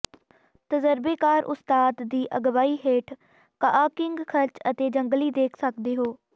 ਤਜਰਬੇਕਾਰ ਉਸਤਾਦ ਦੀ ਅਗਵਾਈ ਹੇਠ ਕਾਆਕਿੰਗ ਖਰਚ ਅਤੇ ਜੰਗਲੀ ਦੇਖ ਸਕਦੇ ਹੋ